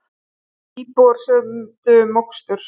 Íbúar sömdu um mokstur